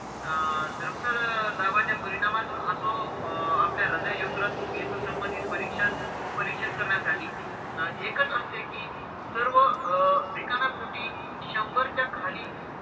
अं दाबाच्या परिणामातून असो अं आपल्या हृदय, यकृत, मेंदू संबंधित परीक्षण परीक्षण करण्यासाठी एकच असते कि सर्व अं रिकाम्या पोटी शंभरच्या खाली,